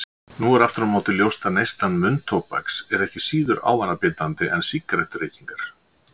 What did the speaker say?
Nú er aftur á móti ljóst að neysla munntóbaks er ekki síður ávanabindandi en sígarettureykingar.